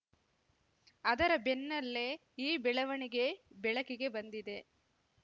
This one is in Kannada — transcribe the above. ಅದರ ಬೆನ್ನಲ್ಲೇ ಈ ಬೆಳವಣಿಗೆ ಬೆಳಕಿಗೆ ಬಂದಿದೆ